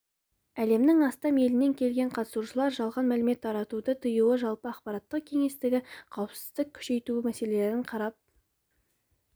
әлемнің астам елінен келген қатысушылар жалған мәлімет таратуды тыю жалпы ақпараттық кеңістіктегі қауіпсіздікті күшейту мәселесін қарап